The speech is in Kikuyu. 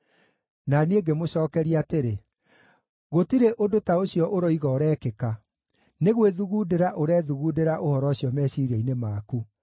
Na niĩ ngĩkĩmũcookeria atĩrĩ: “Gũtirĩ ũndũ ta ũcio ũroiga ũrekĩka; nĩ gwĩthugundĩra ũrethugundĩra ũhoro ũcio meciiria-inĩ maku.”